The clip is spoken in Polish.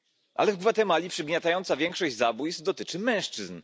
Ale w Gwatemali przygniatająca większość zabójstw dotyczy mężczyzn.